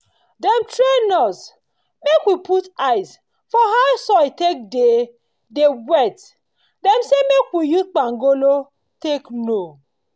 dem train us make we put eyes for how soil take dey dey wet dem say make we use kpangolo take know